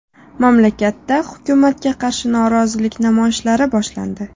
Mamlakatda hukumatga qarshi norozilik namoyishlari boshlandi.